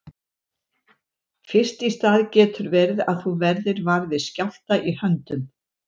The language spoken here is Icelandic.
Fyrst í stað getur verið að þú verðir var við skjálfta í höndum.